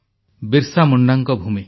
ବିର୍ସା ମୁଣ୍ଡାଙ୍କ ଭୂମି